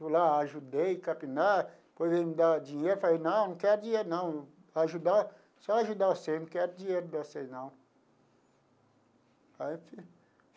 Eu lá ajudei, capinar, depois ele me dava dinheiro, eu falei, não, não quero dinheiro não, ajudar, só ajudar vocês, não quero dinheiro de vocês não. Aí eu